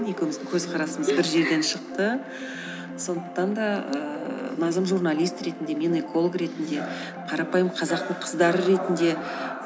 екеуміздің көзқарасымыз бір жерден шықты сондықтан да ііі назым журналист ретінде мен эколог ретінде қарапайым қазақтың қыздары ретінде